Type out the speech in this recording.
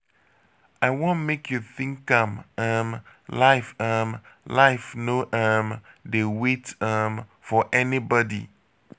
i wan make you think am um life um life no um dey wait um for anybody.